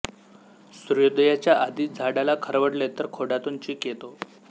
सूर्योदयाच्या आधी झाडाला खरवडले तर खोडातून चीक येतो